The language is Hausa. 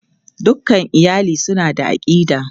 Dukan iyali suna da aƙida.